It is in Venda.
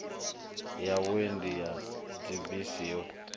ya vhuendi ya dzibisi yo